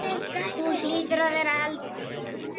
Þú hlýtur að vera eldri!